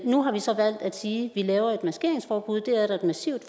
nu har vi så valgt at sige at vi laver et maskeringsforbud det er der et massivt